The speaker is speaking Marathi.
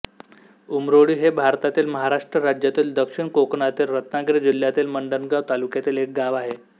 उमरोळी हे भारतातील महाराष्ट्र राज्यातील दक्षिण कोकणातील रत्नागिरी जिल्ह्यातील मंडणगड तालुक्यातील एक गाव आहे